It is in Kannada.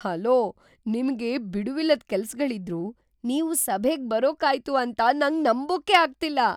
ಹಲೋ! ನಿಮ್ಗೆ ಬಿಡುವಿಲ್ಲದ್ ಕೆಲ್ಸಗಳಿದ್ರೂ ನೀವು ಸಭೆಗ್‌ ಬರೋಕಾಯ್ತು ಅಂತ ನಂಗ್ ನಂಬೋಕೇ ಆಗ್ತಿಲ್ಲ.